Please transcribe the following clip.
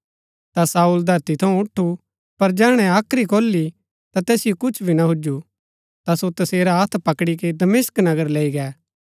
ता शाऊल धरती थऊँ उठु पर जैहणै हाख्री खोली ता तैसिओ कुछ भी ना हुजु ता सो तसेरा हत्थ पकड़ी के दमिश्क नगर लैई गै